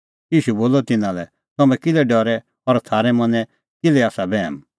ईशू बोलअ तिन्नां लै तम्हैं किल्है डरै और थारै मनैं किल्है आसा बैहम